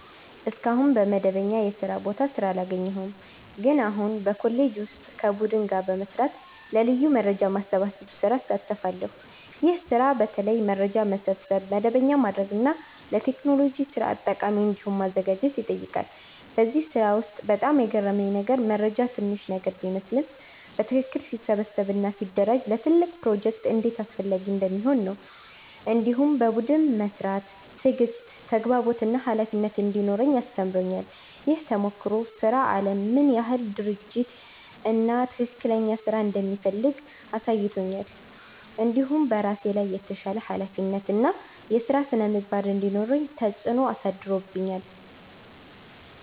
እስካሁን በመደበኛ የስራ ቦታ ስራ አላገኘሁም፣ ግን አሁን በኮሌጄ ውስጥ ከቡድን ጋር በመስራት ለ ልዩ የመረጃ ማሰባሰብ ስራ እሳተፋለሁ። ይህ ስራ በተለይ መረጃ መሰብሰብ፣ መደበኛ ማድረግ እና ለቴክኖሎጂ ስርዓት ጠቃሚ እንዲሆን ማዘጋጀት ይጠይቃል። በዚህ ስራ ውስጥ በጣም የገረመኝ ነገር መረጃ ትንሽ ነገር ቢመስልም በትክክል ሲሰበሰብ እና ሲደራጀ ለትልቅ ፕሮጀክት እንዴት አስፈላጊ እንደሚሆን ነው። እንዲሁም በቡድን መስራት ትዕግሥት፣ ተግባቦት እና ኃላፊነት እንዲኖረኝ አስተምሮኛል። ይህ ተሞክሮ ስራ አለም ምን ያህል ድርጅት እና ትክክለኛ ስራ እንደሚፈልግ አሳይቶኛል። እንዲሁም በራሴ ላይ የተሻለ ኃላፊነት እና የስራ ስነ-ምግባር እንዲኖረኝ ተጽዕኖ አሳድሮብኛል።